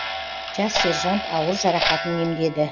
жас сержант ауыр жарақатын емдеді